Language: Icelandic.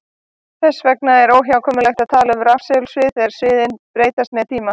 Þess vegna er óhjákvæmilegt að tala um rafsegulsvið þegar sviðin breytast með tíma.